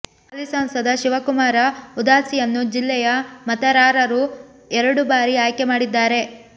ಹಾಲಿ ಸಂಸದ ಶಿವಕುಮಾರ ಉದಾಸಿಯನ್ನು ಜಿಲ್ಲೆಯ ಮತರಾರರು ಎರಡು ಬಾರಿ ಆಯ್ಕೆ ಮಾಡಿದ್ದಾರೆ